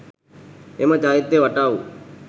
එම චෛත්‍යය වටා වූ